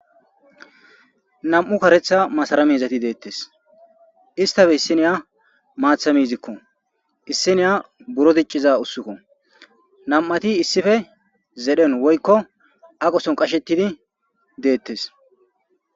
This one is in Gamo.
nam7u karetha masara mizati deettes istafe issiniya maatha miizikko issiniya buro dicciza ussukko nam7ati issife zedhen woykko aqoson qashettidi deettes